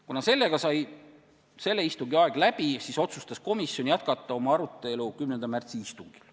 Kuna istungi aeg sai läbi, siis otsustas komisjon jätkata arutelu 10. märtsi istungil.